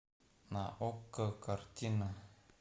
на окко картина